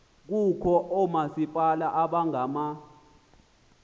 kukho oomasipala abangama